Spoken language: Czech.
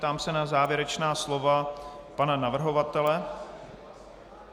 Ptám se na závěrečná slova pana navrhovatele.